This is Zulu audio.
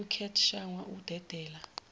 kucat shangwa ukudedela